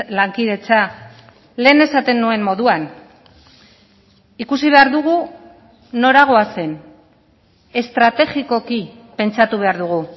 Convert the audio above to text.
lankidetza lehen esaten nuen moduan ikusi behar dugu nora goazen estrategikoki pentsatu behar dugu